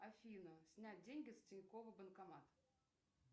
афина снять деньги с тинькова банкомат